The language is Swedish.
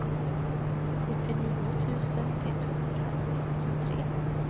sjuttionio tusen etthundraåttiotre